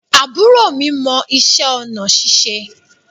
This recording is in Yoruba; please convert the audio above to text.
Àbúrò mi mọ ìṣe onà ṣíṣe